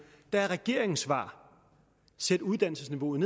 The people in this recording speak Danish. er regeringens svar sæt uddannelsesniveauet